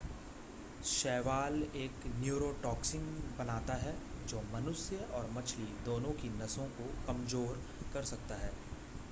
शैवाल एक न्यूरोटॉक्सिन बनाता है जो मनुष्य और मछली दोनों की नसों को कमज़ोर कर सकता है